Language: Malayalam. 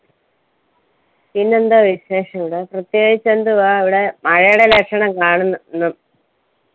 പിന്നെന്താ വിശേഷിവിടെ പ്രത്യേകിച്ച് എന്തുവാ അവിടെ മഴയുടെ ലക്ഷണം കാണുന്നു ന്നു